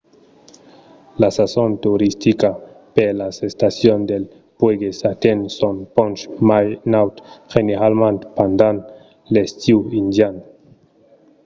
la sason toristica per las estacions dels puèges atenh son ponch mai naut generalament pendent l’estiu indian